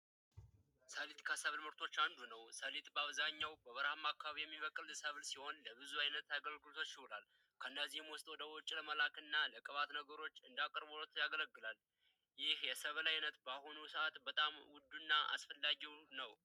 ሰሊጥ ከሰብል ምርቶች አንዱ ነው። ሰሊጥ በአብዛኛው በበረሃማ አካባቢዎች የሚበቅል ሰብል ሲሆን ለብዙ አይነት አአገልግሎቶች ይውላል። ከእነዚህም ውስጥ ወደ ውጭ ለመላክ እና ለቅባት ነገሮች እንደ አቅርቦት ያገለግላል። ይህ የሰብል አይነት በአሁኑ ሰዓት በጣም አስፈላጊው እና ውዱ ነው።